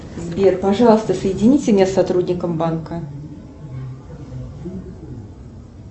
сбер пожалуйста соедините меня с сотрудником банка